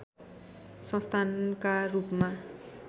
संस्थानका रूपमा